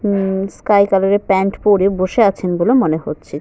উম sky colour এর pant পরে বসে আছেন বলে মনে হচ্ছে।